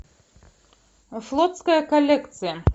флотская коллекция